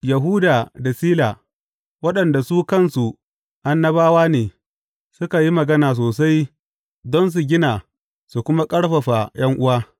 Yahuda da Sila, waɗanda su kansu annabawa ne, suka yi magana sosai don su gina su kuma ƙarfafa ’yan’uwa.